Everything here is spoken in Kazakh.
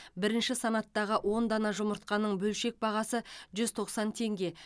бірінші санаттағы он дана жұмыртқаның бөлшек бағасы жүз тоқсан теңге